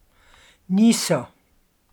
Niso.